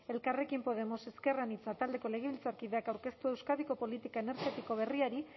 elkarrekin podemos ezker anitza taldeko legebiltzarkideak aurkeztua euskadiko politika energetiko berriari